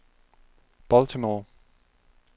Baltimore